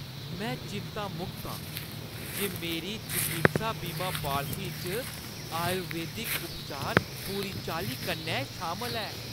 में चिंता मुक्त आं जे मेरी चकित्सा बीमा पालसी च आयुर्वेदिक उपचार पूरी चाल्ली कन्नै शामल ऐ।